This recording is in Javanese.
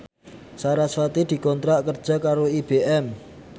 sarasvati dikontrak kerja karo IBM